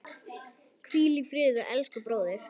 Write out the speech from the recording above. Hvíl í friði elsku bróðir.